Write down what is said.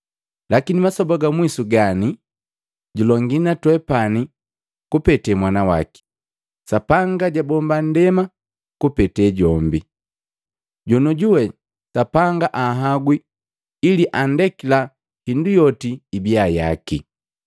lakini masoba ga mwisu gani, julongi na twepani kupete Mwana waki. Sapanga jwabomba nndema kupete jombi, joniojuwe Sapanga anhagwi ili andekila hindu yoti ibia yaki.